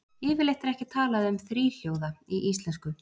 Yfirleitt er ekki talað um þríhljóða í íslensku.